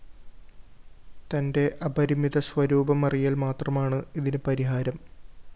തന്റെ അപരിമിത സ്വരൂപമറിയല്‍ മാത്രമാണ് ഇതിന് പരിഹാരം